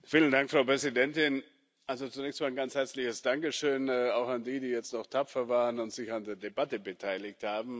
Frau Präsidentin! Zunächst mal ein ganz herzliches Dankeschön auch an diejenigen, die jetzt noch tapfer waren und sich an der Debatte beteiligt haben.